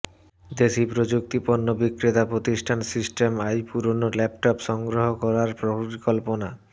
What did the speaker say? দেশি প্রযুক্তি পণ্য বিক্রেতা প্রতিষ্ঠান সিস্টেম আই পুরোনো ল্যাপটপ সংগ্রহ করার পরিকল্পনা